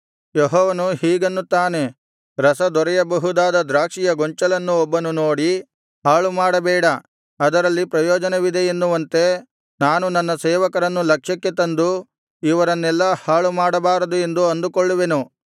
ಯೆಹೋವನು ಹೀಗನ್ನುತ್ತಾನೆ ರಸ ದೊರೆಯಬಹುದಾದ ದ್ರಾಕ್ಷಿಯ ಗೊಂಚಲನ್ನು ಒಬ್ಬನು ನೋಡಿ ಹಾಳುಮಾಡಬೇಡ ಅದರಲ್ಲಿ ಪ್ರಯೋಜನವಿದೆ ಎನ್ನುವಂತೆ ನಾನು ನನ್ನ ಸೇವಕರನ್ನು ಲಕ್ಷ್ಯಕ್ಕೆ ತಂದು ಇವರನ್ನೆಲ್ಲಾ ಹಾಳುಮಾಡಬಾರದು ಎಂದು ಅಂದುಕೊಳ್ಳುವೆನು